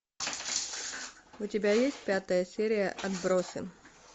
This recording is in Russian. у тебя есть пятая серия отбросы